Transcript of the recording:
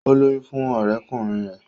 O lóyún fún ọrẹkunrin rẹ.